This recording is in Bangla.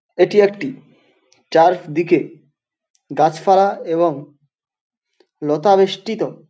এটি একটি চার্ফদিকে গাছপালা এবং লতা বেষ্টিত --